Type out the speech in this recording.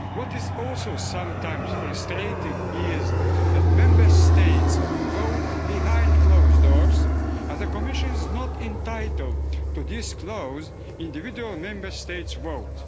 What is also sometimes frustrating is that Member States vote behind closed doors and the Commission is not entitled to disclose individual Member State's vote.